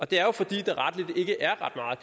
det er jo fordi